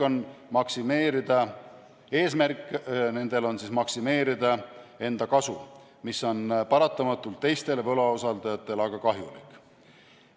Nende eesmärk on maksimeerida enda kasum, mis on aga paratamatult teistele võlausaldajatele kahjulik.